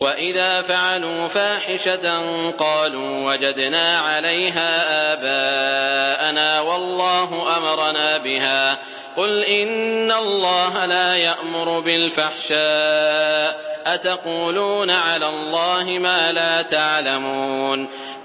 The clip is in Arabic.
وَإِذَا فَعَلُوا فَاحِشَةً قَالُوا وَجَدْنَا عَلَيْهَا آبَاءَنَا وَاللَّهُ أَمَرَنَا بِهَا ۗ قُلْ إِنَّ اللَّهَ لَا يَأْمُرُ بِالْفَحْشَاءِ ۖ أَتَقُولُونَ عَلَى اللَّهِ مَا لَا تَعْلَمُونَ